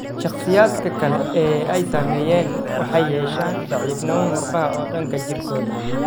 Shakhsiyaadka kale ee ay saameeyeen waxay yeeshaan daciifnimo murqaha oo dhan jirkooda.